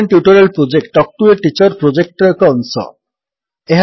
spoken tutorial project talk to a teacher ପ୍ରୋଜେକ୍ଟର ଏକ ଅଂଶ